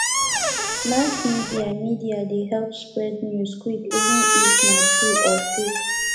mass media media dey help spread news quick even if na true or fake